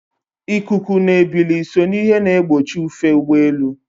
Ikuku na ebili so n'ihe na-egbochi ufe ụgbọelu.